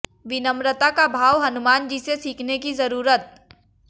विनम्रता का भाव हनुमान जी से सीखने की जरूरत